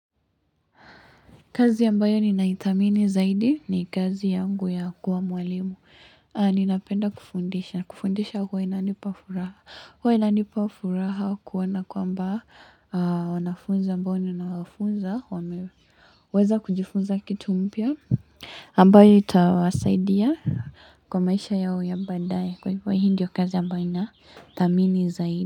Kazi ambayo ninaithamini zaidi ni kazi yangu ya kuwa mwalimu. Ninapenda kufundisha. Kufundisha huwa inanipafuraha. Huwa inanipa furaha kuona kwamba wanafunzi ambao ninawanafunza wame. Weza kujifunza kitu mpya. Ambayo itawasaidia kwa maisha yao ya baadaye. Kwa hivyo hii ndiyo kazi ambayo inathamini zaidi.